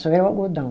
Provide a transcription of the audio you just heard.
Só era o algodão.